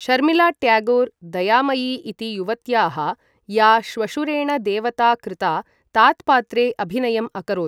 शर्मिळा ट्यागोर् दयामयी इति युवत्याः, या श्वशुरेण देवता कृता, तात्पात्रे अभिनयम् अकरोत्।